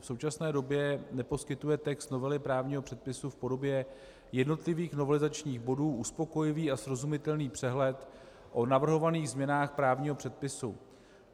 V současné době neposkytuje text novely právního předpisu v podobě jednotlivých novelizačních bodů uspokojivý a srozumitelný přehled o navrhovaných změnách právního předpisu.